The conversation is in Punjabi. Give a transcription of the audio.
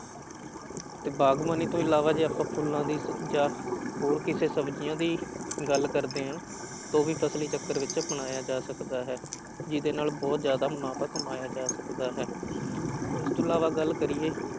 ਤੇ ਬਾਗ਼ਬਾਨੀ ਤੋਂ ਇਲਾਵਾ ਜੇ ਆਪਾਂ ਫੁੱਲਾਂ ਦੀ ਜਾਂ ਹੋਰ ਕਿਸੇ ਸਬਜ਼ੀਆਂ ਦੀ ਗੱਲ ਕਰਦੇ ਹਾਂ ਤਾਂ ਉਹ ਵੀ ਫ਼ਸਲੀ ਚੱਕਰ ਵਿੱਚ ਅਪਣਾਇਆ ਜਾ ਸਕਦਾ ਹੈ, ਜਿਹਦੇ ਨਾਲ ਬਹੁਤ ਜ਼ਿਆਦਾ ਮੁਨਾਫ਼ਾ ਕਮਾਇਆ ਜਾ ਸਕਦਾ ਹੈ ਇਸ ਤੋਂ ਇਲਾਵਾ ਗੱਲ ਕਰੀਏ